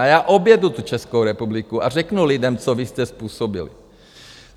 A já objedu tu Českou republiku a řeknu lidem, co vy jste způsobili.